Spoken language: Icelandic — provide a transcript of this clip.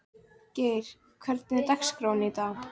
Geir, hvernig er dagskráin í dag?